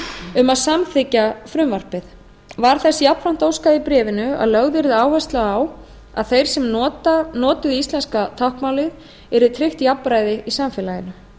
um að samþykkja frumvarpið var þess jafnframt óskað í bréfinu að lögð yrði áhersla á að þeir sem notuðu íslenska táknmálið yrði tryggt jafnræði í samfélaginu